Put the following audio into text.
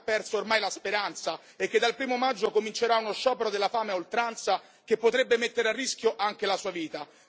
Un uomo che ha perso ormai la speranza e che dal 1o maggio comincerà uno sciopero della fame a oltranza che potrebbe mettere a rischio anche la sua vita.